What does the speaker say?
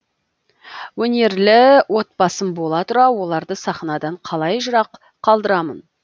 өнерлі отбасым бола тұра оларды сахнадан қалай жырақ қалдырамын